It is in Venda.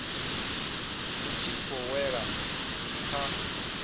vhu tshi khou wela kha